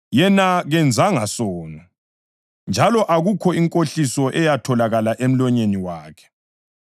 “Yena kenzanga sono, njalo akukho nkohliso eyatholakala emlonyeni wakhe.” + 2.22 U-Isaya 53.9